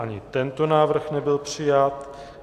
Ani tento návrh nebyl přijat.